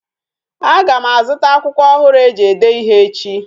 Aga m a zụta akwụkwọ ọhụrụ e ji ede ịhe echi